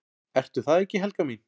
"""Ertu það ekki, Helga mín?"""